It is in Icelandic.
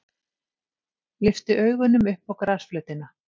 Lyfti augunum upp á grasflötina.